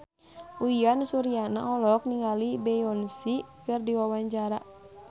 Uyan Suryana olohok ningali Beyonce keur diwawancara